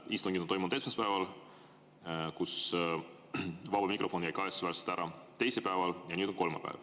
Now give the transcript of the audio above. Istungid on toimunud esmaspäeval, kus vaba mikrofon kahetsusväärselt ära jäi, teisipäeval ja nüüd on kolmapäev.